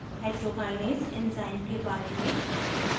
hexokinase enzyme के बारे में